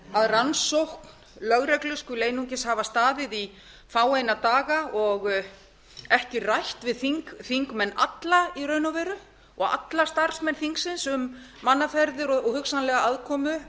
að rannsókn lögreglu skuli einungis hafa staðið í fáeina daga og ekki rætt við þingmenn alla í raun og veru og alla starfsmenn þingsins um mannaferðir og hugsanlega aðkomu